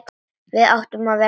Við áttum að vera farnir.